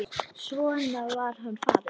Svo var hann farinn.